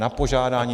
Na požádání.